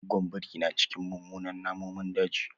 Goggon biri na cikin munanan namun daji.